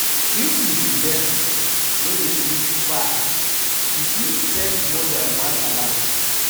If you be person wey dey sleep far, you fit set more than one alarm